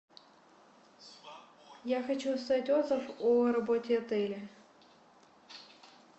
я хочу оставить отзыв о работе отеля